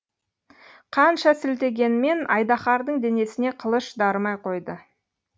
қанша сілтегенмен айдаһардың денесіне қылыш дарымай қойды